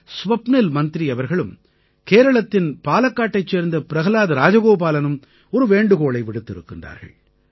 ஸ்வப்னில் மந்த்ரி அவர்களும் கேரளத்தின் பாலக்காட்டைச் சேர்ந்த பிரஹலாத் ராஜகோபாலனும் ஒரு வேண்டுகோளை விடுத்திருக்கின்றார்கள்